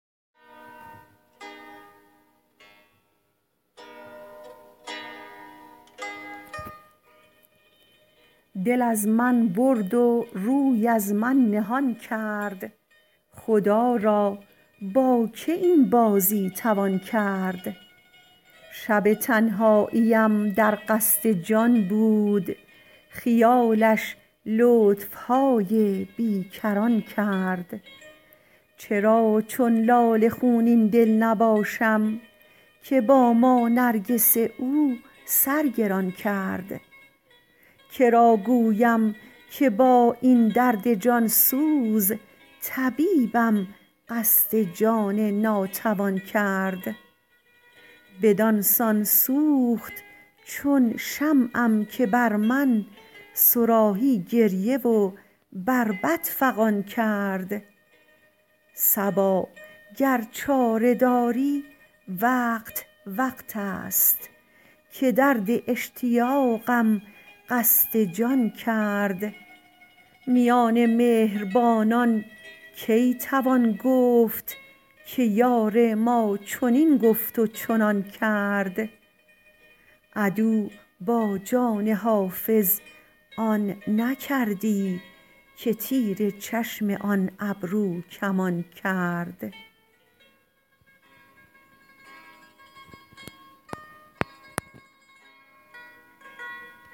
دل از من برد و روی از من نهان کرد خدا را با که این بازی توان کرد شب تنهاییم در قصد جان بود خیالش لطف های بی کران کرد چرا چون لاله خونین دل نباشم که با ما نرگس او سر گران کرد که را گویم که با این درد جان سوز طبیبم قصد جان ناتوان کرد بدان سان سوخت چون شمعم که بر من صراحی گریه و بربط فغان کرد صبا گر چاره داری وقت وقت است که درد اشتیاقم قصد جان کرد میان مهربانان کی توان گفت که یار ما چنین گفت و چنان کرد عدو با جان حافظ آن نکردی که تیر چشم آن ابروکمان کرد